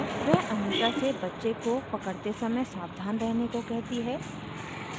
वह anita से बच्चे को पकड़ते समय सावधान रहने को कहती है